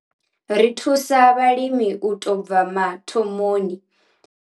Ri thusa vhalimi u tou bva mathomoni.